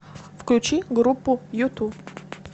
включи группу юту